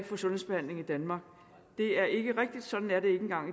få sundhedsbehandling i danmark er ikke rigtig sådan er det ikke engang